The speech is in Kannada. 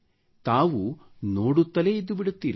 ತಾವು ನೋಡುತ್ತಲೇ ಇದ್ದು ಬಿಡುತ್ತೀರಿ